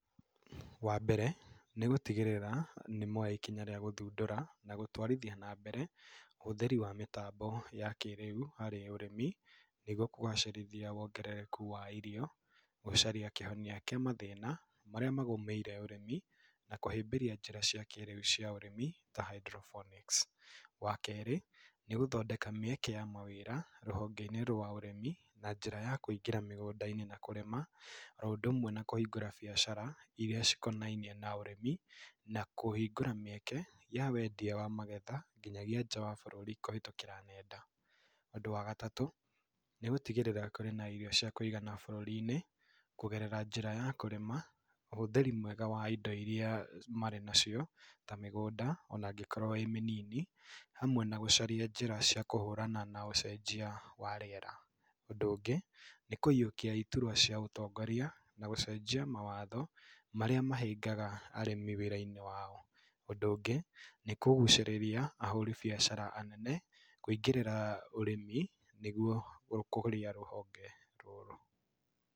Wa mbere, nĩ gũtigĩrĩra nĩ moya ikinya rĩa gũthundũra na gũtwarithia na mbere ũhũthĩri wa mĩtambo ya kĩrĩu harĩ ũrĩmi nĩguo kũgacĩrithia wongerereku wa irio, gũcaria kĩhonia kĩa mathĩna marĩa magũmĩire ũrĩmi, na kũhĩmbĩria njĩra cia kĩrĩu cia ũrĩmi, ta hydrophonics. Wa kerĩ, nĩ gũthondeka mĩeke ya mawĩra rũhonge-inĩ rwa ũrĩmi na njĩra ya kũingĩra mĩgũnda-inĩ na kũrĩma, oro ũndũ ũmwe na kũhingũra biacara iria cikonainie na ũrĩmi, na kũhingũra mĩeke ya wendia wa magetha nginyagĩa nja wa bũrũri kũhetũkĩra nenda. Ũ ndũ wa gatatũ nĩ gũtigĩrĩra kũrĩ na irio cia kũigana bũrũri-inĩ kũgerera njĩra ya kũrĩma, ũhũthĩri mwega wa indo iria marĩ nacio, ta mĩgũnda ona ĩngĩkorwo ĩ mĩnini, hamwe na gũcaria njĩra ya kũhũrana na ũcenjia wa rĩera. Ũndũ ũngĩ, nĩ kũyiũkia iturwa cia ũtongoria, na gũcenjia mawatho marĩa mahĩngaga arĩmi wĩra-inĩ wao. Ũndũ ũngĩ nĩ kũgucĩrĩria ahũri biacara anene kwĩingĩrĩra ũrĩmi nĩguo gũkũria rũhonge rũrũ.